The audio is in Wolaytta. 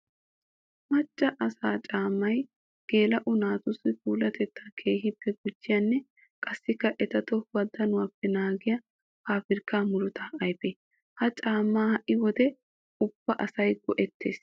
Macca asaa caamay geela'o naatussi puulatetta keehippe gujiyanne qassikka eta tohuwa danuwappe naagiya paabirkka muruta ayfe. Ha caamaa ha'i wode ubba asay go'ettees.